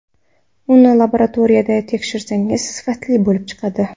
Uni laboratoriyada tekshirsangiz, sifatli bo‘lib chiqadi.